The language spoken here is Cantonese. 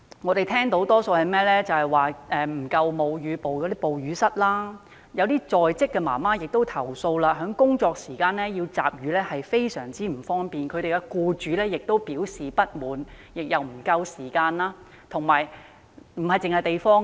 有人表示社區沒有足夠的哺乳室，部分在職母親也投訴，在工作時間集乳很不方便，僱主亦表示不滿，集乳的時間亦不足夠。